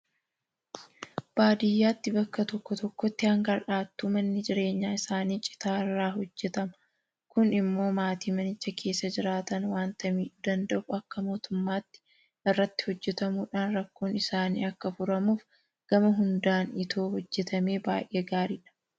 Baadiyyaatti bakka tokko tokkotti hanga har'aattuu manni jireenyaa isaanii Citaa irraa hojjetama. Kun immoo maatii manicha keessa jiraatan waanta miidhuu danda'uuf akka mootummaatti irratti hojjetamuudhaan rakkoon isaanii akka furamuuf gama hundaan itoo hojjetamee baay'ee gaariidha.